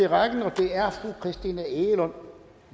i rækken og det er fru christina egelund